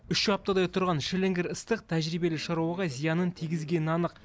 үш аптадай тұрған шіліңгір ыстық тәжірибелі шаруаға зиянын тигізгені анық